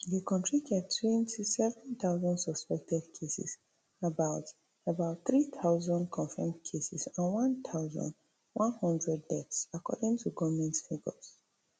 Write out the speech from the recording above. di kontri get twenty-seven thousand suspected cases about about three thousand confirmed cases and one thousand, one hundred deaths according to goment figures